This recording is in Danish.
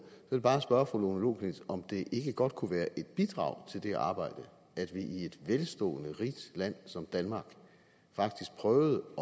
vil bare spørge fru lone loklindt om det ikke godt kunne være et bidrag til det arbejde at vi i et velstående rigt land som danmark faktisk prøvede